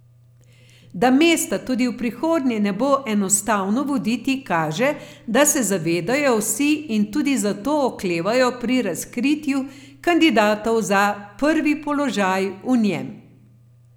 Da mesta tudi v prihodnje ne bo enostavno voditi, kaže, da se zavedajo vsi in tudi zato oklevajo pri razkritju kandidatov za prvi položaj v njem.